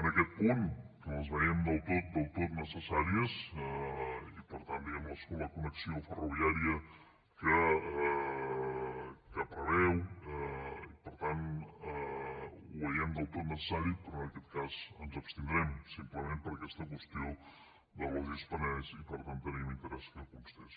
en aquest punt que les veiem del tot del tot necessàries i per tant diguem ne la connexió ferroviària que preveu per tant ho veiem del tot necessari però en aquest cas ens abstindrem simplement per aquesta qüestió del logis penedès i per tant teníem interès que constés